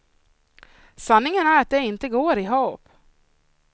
Sanningen är att det inte går ihop.